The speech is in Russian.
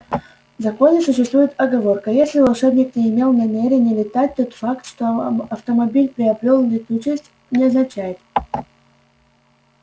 в законе существует оговорка если волшебник не имел намерения летать тот факт что автомобиль приобрёл летучесть не означает